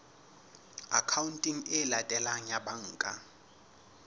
akhaonteng e latelang ya banka